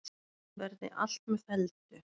Verði allt með felldu.